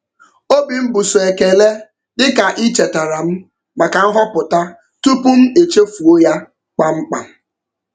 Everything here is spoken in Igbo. Obi m bụ sọ ekele dị ka ị chetara m maka nhọpụta tupu m chefuo ya kpam kpam.